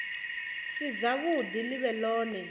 si dzavhuḓi ḽi vhe ḽone